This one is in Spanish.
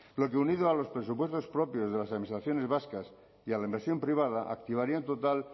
lo que unido a los presupuestos propios de las administraciones vascas y a la inversión privada activaría un total